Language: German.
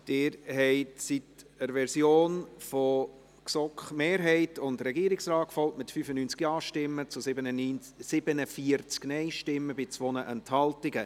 Sie sind der Version von GSoK-Mehrheit und Regierungsrat gefolgt, mit 95 Ja- gegen 47 Nein-Stimmen bei 2 Enthaltungen.